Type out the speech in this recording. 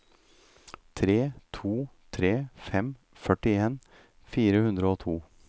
tre to tre fem førtien fire hundre og to